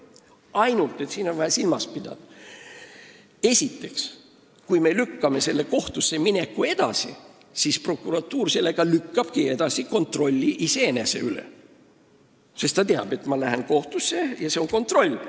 Ainult et siin on vaja silmas pidada, et kui kohtusse minekut edasi lükatakse, siis lükkab prokuratuur sellega edasi kontrolli iseenese üle, sest ta teab, et ta läheb kohtusse, mis tähendab kontrolli.